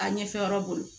A ɲɛfɛ yɔrɔ bolo